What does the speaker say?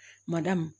Mada